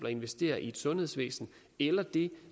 at investere i et sundhedsvæsen eller det